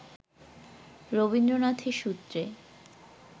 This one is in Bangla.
রবীন্দ্রনাথের সূত্রে